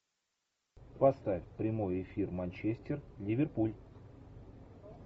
поставь прямой эфир манчестер ливерпуль